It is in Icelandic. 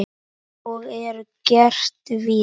Og er gert víða.